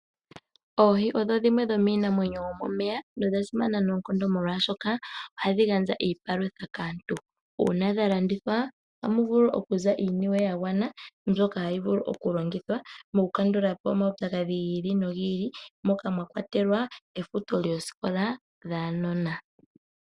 Oohi odho dhimwe dhomiinamwenyo yomomeya nodha simana noonkondo molwashoka ohadhi gandja iipalutha kaantu. Uuna dha landithwa ohamu vulu okuza iiniwe ya gwana mbyoka hayi vulu okulongithwa mokukandula po omaupyakadhi gi ili nogi ili moka mwa kwatelwa efuto lyoosikola dhaanona.